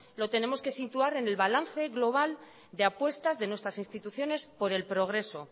lo tenemos que situar en el balance global de apuestas de nuestras instituciones por el progreso